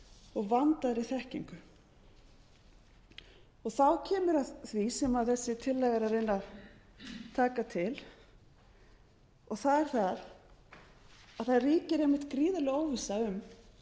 og vandaðri þekkingu er komið að því sem þessi tillaga er að reyna að taka til það er það að það ríkir einmitt gríðarleg óvissa um